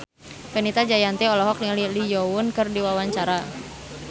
Fenita Jayanti olohok ningali Lee Yo Won keur diwawancara